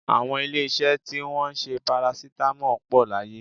Àwọn ilé-iṣẹ́ tí wọn ń ṣe parasitamọ́ọ̀ pọ̀ láyé